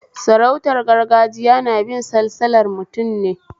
Sarautar gargajiya nabin salsalar mutum ne